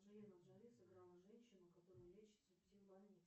анджелина джоли сыграла женщину которая лечится в псих больнице